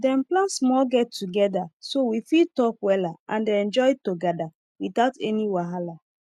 dem plan small get together so we fit talk wella and enjoy togada without any wahala